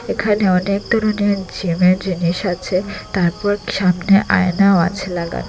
এখানে অনেক ধরনের জিমের জিনিস আছে তারপর সামনে আয়নাও আছে লাগানো।